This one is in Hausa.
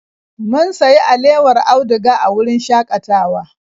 Mun sayi alewar auduga a wurin shakatawa.